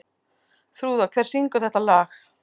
Þrúða, hver syngur þetta lag?